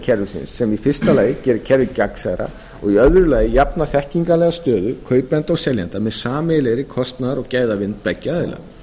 kerfisins sem í fyrsta lagi gera kerfið gegnsærra og í öðru lagi jafna þekkingarlega stöðu kaupanda og seljenda með sameiginlegri kostnaðar og gæðavitund beggja aðila